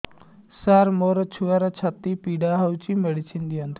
ସାର ମୋର ଛୁଆର ଛାତି ପୀଡା ହଉଚି ମେଡିସିନ ଦିଅନ୍ତୁ